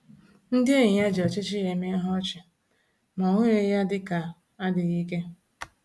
Ndị enyi ya ji ọchịchị ya eme ihe ọchị, ma ọ hụghị ya dịka adịghị ike